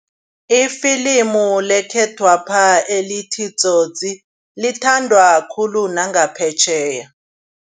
Ifilimu lekhethwapha elithi Tsotsi lithandwa khulu nangaphetjheya.